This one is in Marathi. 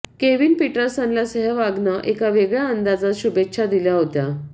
केविन पीटरसनला सेहवागनं एका वेगळ्या अंदाजात शुभेच्छा दिल्या होत्या